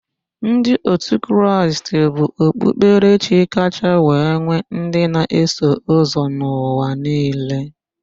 Ndị otu Kraịst bụ okpukperechi kacha wee nwe ndị na-eso ụzọ n'ụwa niile.